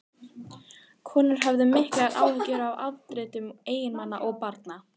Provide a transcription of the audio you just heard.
Konurnar höfðu miklar áhyggjur af afdrifum eiginmanna og barna.